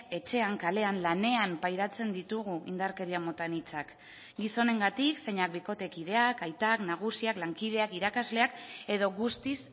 etxean kalean lanean pairatzen ditugu indarkeria mota anitzak gizonengatik zeinak bikotekideak aitak nagusiak lankideak irakasleak edo guztiz